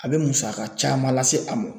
A bɛ musaka caman lase a mɔ.